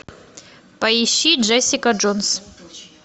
поищи джессика джонс